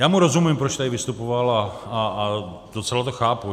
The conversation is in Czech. Já mu rozumím, proč tady vystupoval, a docela to chápu.